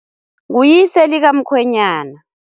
Nguyise likamkhwenyana.